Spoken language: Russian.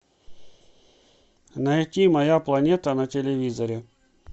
найти моя планета на телевизоре